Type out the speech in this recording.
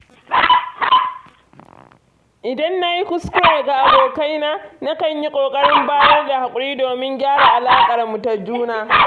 Idan nayi kuskure ga abokaina, na kan yi ƙoƙarin bayar da haƙuri domin gyara alaƙar mu da juna